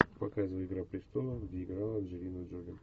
показывай игра престолов где играла анджелина джоли